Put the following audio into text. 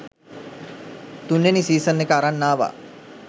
තුන්වෙනි සීසන් එක අරන් ආවා.